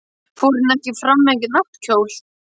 Fór hún ekki fram með náttkjól?